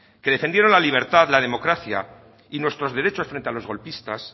que defendieron la libertad la democracia y nuestros derechos frente a los golpistas